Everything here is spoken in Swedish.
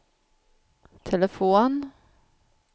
telefon